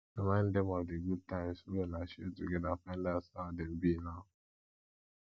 remind them of the good times wey una share together and find out how dem be now